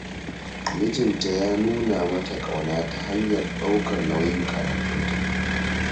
Mijinta ya nuna mata ƙauna ta hanyar ɗaukar nauyin karatunta